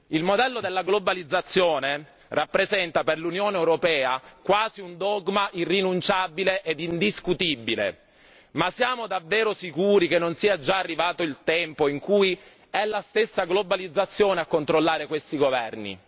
Il modello della globalizzazione rappresenta per l'Unione europea quasi un dogma irrinunciabile e indiscutibile. Ma siamo davvero sicuri che non sia arrivato il tempo in cui è la stessa globalizzazione a controllare questi governi?